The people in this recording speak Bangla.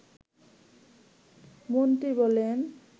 মন্ত্রী বলেন